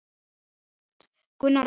Gunnar Örn.